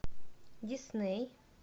дисней